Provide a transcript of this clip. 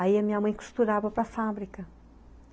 Aí a minha mãe costurava para fábrica.